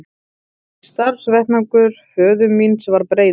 Starfsvettvangur föður míns var breiður.